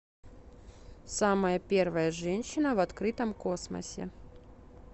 самая первая женщина в открытом космосе